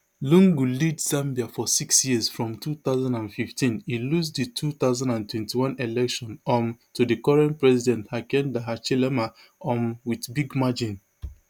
lungu lead zambia for six years from two thousand and fifteen e lose di two thousand and twenty-one election um to di current president hakainde hichilema um wit big margin